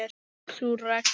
Sú regla.